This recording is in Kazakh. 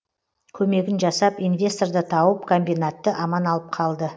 көмегін жасап инвесторды тауып комбинатты аман алып қалды